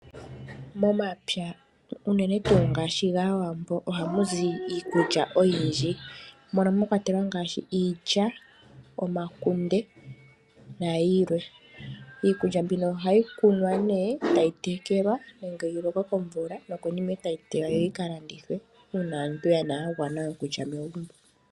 Mompya uunene tuu ngaashi gAawambo ohamu zi iikulya oyindji mono mwakwatelwa ngaashi iilya, omakunde nayilwe. Iikulya mbino ohayi kunwa ne etayi tekelwa nenge yilokwe komvula nokonima etayi tege yika landithwe uuna aantu yagwana okulya megumbo.